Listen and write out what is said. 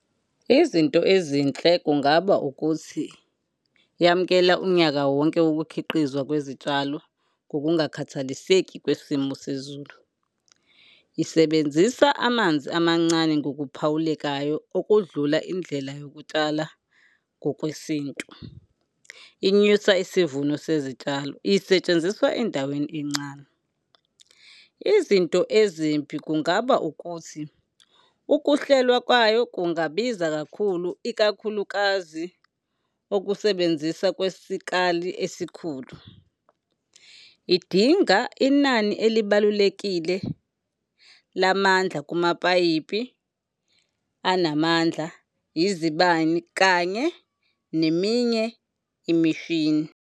Izinto ezinhle kungaba ukuthi yamukela unyaka wonke ukukhiqizwa kwezitshalo ngokungakhathaliseki kwesimo sezulu. Isebenzisa amanzi amancane ngokuphawulekayo okudlula indlela yokutshala ngokwesintu. Inyusa isivuno sezitshalo, isetshenziswa endaweni encane. Izinto ezimbi kungaba ukuthi ukuhlelwa kwayo kungabiza kakhulu, ikakhulukazi ukusebenzisa kwesikali esikhulu. Idinga inani elibalulekile lamandla kumapayipi anamandla, izibani kanye neminye imishini.